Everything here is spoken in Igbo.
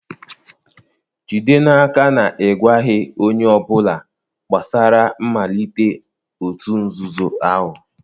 jide n'aka na ị gwaghị onye ọ bụla gbasara mmalite òtù nzuzo ahụ!